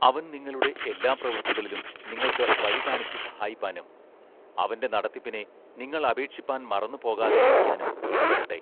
അവൻ നിങ്ങളുടെ എല്ലാ പ്രവൃത്തികളിലും നിങ്ങൾക്ക് വഴി കാണിച്ച് സഹായിപ്പാനും അവന്റെ നടത്തിപ്പിനെ നിങ്ങൾ അപേക്ഷിപ്പാൻ മറന്നു പോകാതെയിരിക്കാനും ഇടവരട്ടെ.